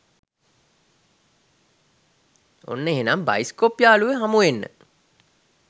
ඔන්න එහෙනම් බයිස්කෝප් යාළුවො හමුවෙන්න